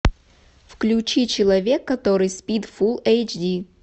включи человек который спит фул эйч ди